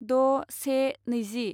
द' से नैजि